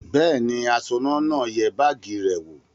Bẹ́ẹ̀ ni, aṣọ́nà náà yẹ báágì rẹ̀ wò.